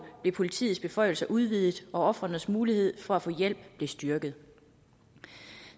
bliver politiets beføjelser udvidet og ofrenes mulighed for at få hjælp bliver styrket